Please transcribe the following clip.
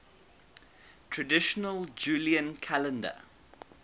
traditional julian calendar